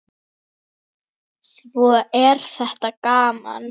Svo er þetta gaman.